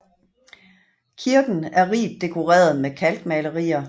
Kirken er rigt dekoreret med kalkmalerier